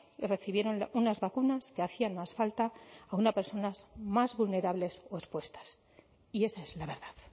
y recibieron unas vacunas que hacían más falta a unas personas más vulnerables o expuestas y esa es la verdad